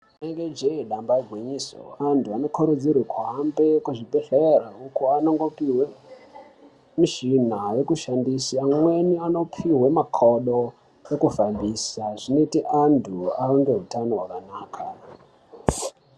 Rinenge jee damba igwinyiso antu anokurudzirwe kuhambe kuzvibhedhlere uko anondopihwe mishina yekushandisa amweni anopihwe makodo ekufamhisa zvinoti antu ave ngeutano hwakanaka.